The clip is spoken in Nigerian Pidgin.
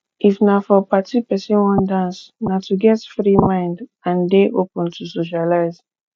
if na for party person wan dance na to get free mind and dey open to socialize